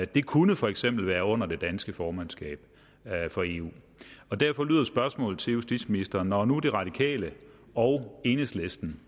det kunne for eksempel være under det danske formandskab for eu derfor lyder spørgsmålet til justitsministeren når nu de radikale og enhedslisten